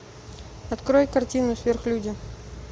открой картину сверхлюди